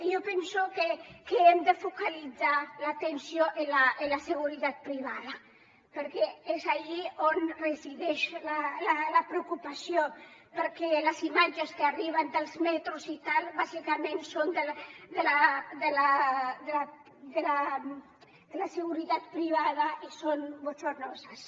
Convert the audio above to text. jo penso que hem de focalitzar l’atenció en la seguretat privada perquè és allí on resideix la preocupació perquè les imatges que arriben dels metros i tal bàsicament són de la seguretat privada i són bochornosas